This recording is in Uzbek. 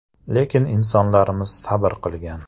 Lekin insonlarimiz sabr qilgan.